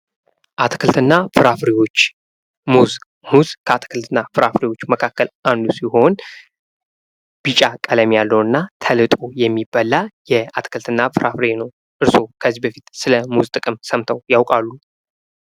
አትክልትና ፍራፍሬዎች ፦ ሙዝ ፦ ሙዝ ከአትክልትና ፍራፍሬዎች መካከል አንዱ ሲሆን ቢጫ ቀለም ያለውና ተልጦ የሚበላ የአትክልትና ፍራፍሬ ነው ። እርሶ ከዚህ በፊት ስለ ሙዝ ጥቅም ሰምተው ያውቃሉ ?